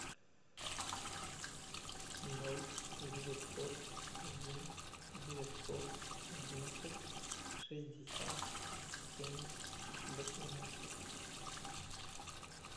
ноль девятьсот один девятьсот одинадцать шестьдесят семь восемнадцать